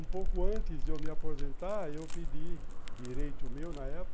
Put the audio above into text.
Um pouco antes de eu me aposentar, eu pedi, direito meu na época,